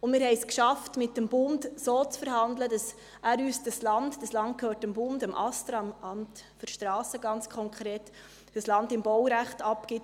Zudem haben wir es geschafft, mit dem Bund so zu verhandeln, dass er uns das Land – das Land gehört dem Bund, ganz konkret dem Astra – im Baurecht abgibt;